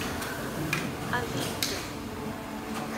авидд